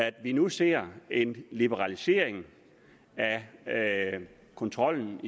at vi nu ser en liberalisering af kontrollen